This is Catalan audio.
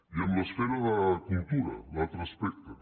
i en l’esfera de cultura l’altre aspecte